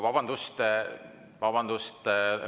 Vabandust!